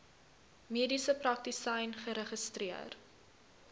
mediese praktisyn geregistreer